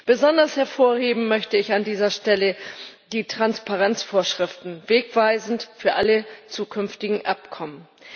Besonders hervorheben möchte ich an dieser Stelle die Transparenzvorschriften wegweisend für alle zukünftigen Abkommen.